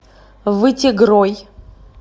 вытегрой